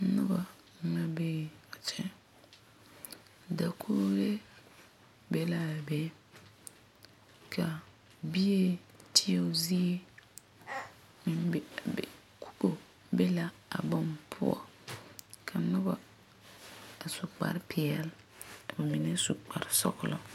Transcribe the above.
Noba mine bee a kyɛ dakogri be la a be ka bie teɛo zie meŋ be be kubo be la a boŋ poɔ ka noba su kparre peɛle ka ba mine su kparre sɔglɔ.